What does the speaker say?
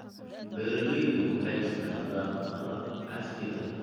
Beeraleydu waxay isticmaalaan qalab casri ah.